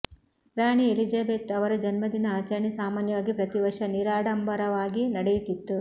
ರಾಣಿ Elizabeth ಅವರ ಜನ್ಮದಿನ ಆಚರಣೆ ಸಾಮಾನ್ಯವಾಗಿ ಪ್ರತಿವರ್ಷ ನಿರಾಡಂಬರವಾಗಿ ನಡೆಯುತ್ತಿತ್ತು